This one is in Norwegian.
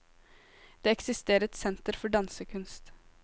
Det eksisterer et senter for dansekunst.